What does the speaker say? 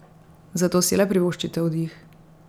Zato si le privoščite oddih.